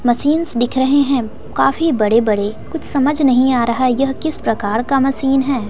Machines दिख रहे हैं काफी बड़े बड़े कुछ समझ नहीं आ रहा है यह किस प्रकार का मशीन है।